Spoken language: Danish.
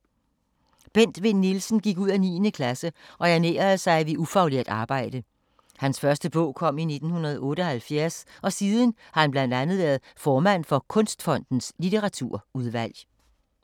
Bent Vinn Nielsens gik ud af 9. klasse og ernærede sig ved ufaglært arbejde. Hans første bog kom i 1978 og siden har han blandt andet være formand for Kunstfondens litteraturudvalg.